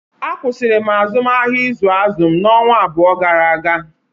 Akwụsịrị m azụmahịa izu azụ n'ọnwa abụọ gara aga